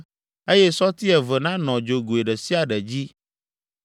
eye sɔti eve nanɔ dzogoe ɖe sia ɖe dzi.